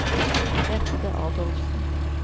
Bente Adolfsen